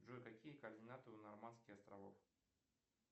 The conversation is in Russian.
джой какие координаты у нормандских островов